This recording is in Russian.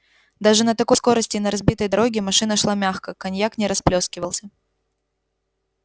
даже на такой скорости и на разбитой дороге машина шла мягко коньяк не расплёскивался